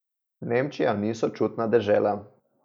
Nemčija ni sočutna dežela.